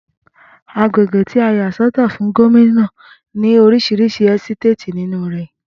Agbègbè tí a yà sọ́tọ̀ fún Gómìnà ní orísirísi ẹ́sítéètì nínú rè